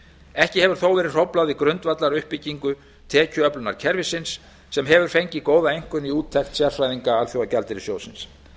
ekki hefur þó verið hróflað við grundvallaruppbyggingu tekjuöflunarkerfisins sem hefur fengið góða einkunn í úttekt sérfræðinga alþjóðagjaldeyrissjóðsins